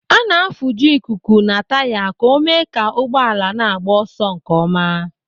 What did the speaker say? A na-afuju ikuku na taya ka o mee ka ụgbọala na-agba ọsọ nkeọma.